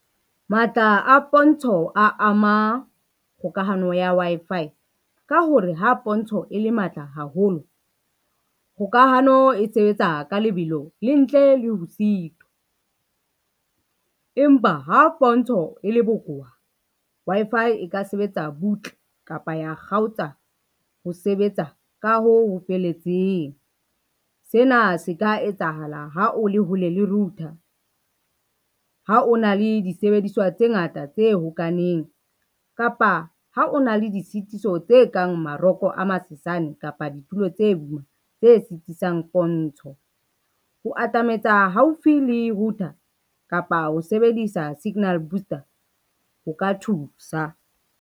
Matla a pontsho a ama kgokahano ya Wi-Fi, ka hore ha pontsho e le matla haholo, kgokahano e sebetsa ka lebelo le ntle le ho sitwa. Empa ha pontsho e le bokowa, Wi-Fi e ka sebetsa butle kapa ya kgaotsa ho sebetsa ka ho ho feletseng. Sena se ka etsahala ha o le hole le router, ha o na le disebediswa tse ngata tse hokahaneng kapa ha o na le di sitiso tse kang maroko a masesane kapa ditulo tse tse sitisang pontsho. Ho atametsa haufi le router kapa ho sebedisa signal booster ho ka thusa.